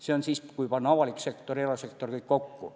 See on siis, kui panna avalik sektor ja erasektor kõik kokku.